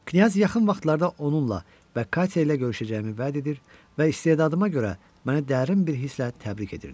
Knyaz yaxın vaxtlarda onunla və Katerina ilə görüşəcəyimi vəd edir və istedadıma görə mənə dərin bir hisslə təbrik edirdi.